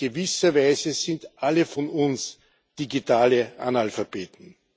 In gewisser Weise sind alle von uns digitale Analphabeten.